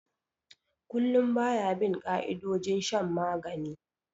Kullum ba ya bin ka'idojin shan magani